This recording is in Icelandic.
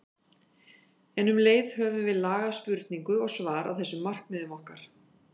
En um leið höfum við lagað spurningu og svar að þessum markmiðum okkar.